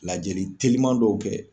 Lajɛli teliman dɔw kɛ.